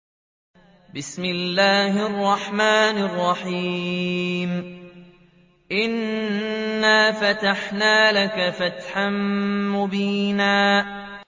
إِنَّا فَتَحْنَا لَكَ فَتْحًا مُّبِينًا